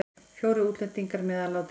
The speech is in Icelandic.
Fjórir útlendingar meðal látinna